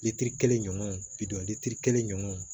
kelen ɲɔgɔn kelen ɲɔgɔn